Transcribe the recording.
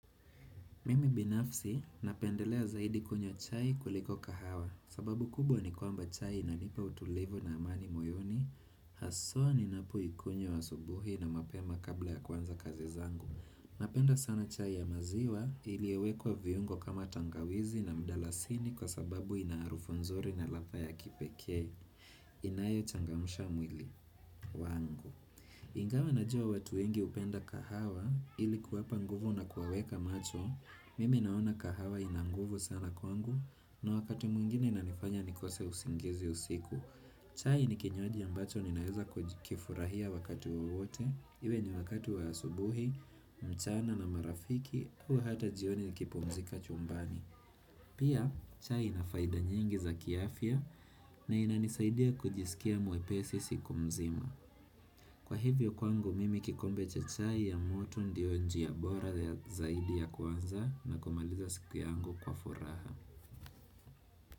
Mimi binafsi napendelea zaidi kunywa chai kuliko kahawa sababu kubwa ni kwamba chai inanipa utulivu na amani moyoni Haswa ninapo ikunyo wa asubuhi na mapema kabla ya kuanza kazi zangu Napenda sana chai ya maziwa iliiyowekwa viungo kama tangawizi na mdalasini Kwa sababu inaarufu nzuri na latha ya kipeke inayo changamsha mwili wangu Ingawa najua watu wengi hupenda kahawa ili kuwapa nguvu na kuwaweka macho Mimi naona kahawa inanguvu sana kwangu, na wakati mwingine na nifanya nikose usingizi usiku. Chai ni kinywaji ambacho ninaeza kifurahia wakati wawote, iwe ni wakati wa asubuhi, mchana na marafiki, hua hata jioni nikipumzika chumbani. Pia, chai nafaida nyingi za kiafia, na inanisaidia kujisikia mwepesi siku mzima. Kwa hivyo kwangu mimi kikombe chai ya moto ndio njia ya bora zaidi ya kwanza na kumaliza siku yangu kwa furaha.